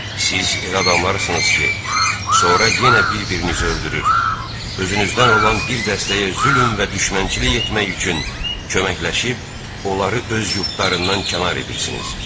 Siz elə adamlarsınız ki, sonra yenə bir-birinizi öldürür, özünüzdən olan bir dəstəyə zülm və düşmənçilik etmək üçün köməkləşib onları öz yurdlarından kənar edirsiniz.